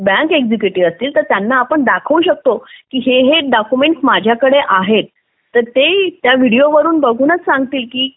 bank executive असतील तर त्यांना आपण दाखवू शकतो माझ्याकडे आहेत तर ते या व्हिडिओ मधून बघूनच सांगतील की